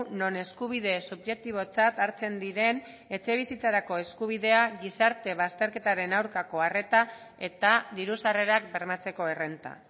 non eskubide subjektibotzat hartzen diren etxebizitzarako eskubidea gizarte bazterketaren aurkako arreta eta diru sarrerak bermatzeko errenta